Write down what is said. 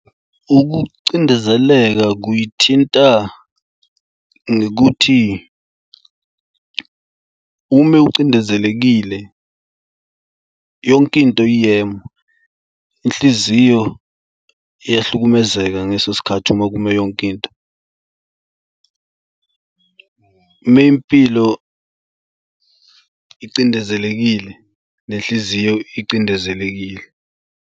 Ukucindezeleka kuyithinta ngekuthi ume ucindezelekile yonkinto iyema. Inhliziyo iyahlukumezeka ngeso sikhathi uma kume yonkinto. Ume impilo icindezelekile nenhliziyo icindezelekile.